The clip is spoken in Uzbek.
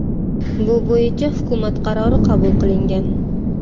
Bu bo‘yicha hukumat qarori qabul qilingan.